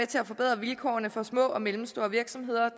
til at forbedre vilkårene for små og mellemstore virksomheder